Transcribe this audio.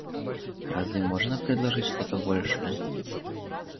разве можно предложить что-то большее